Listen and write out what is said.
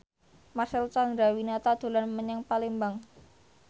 Marcel Chandrawinata dolan menyang Palembang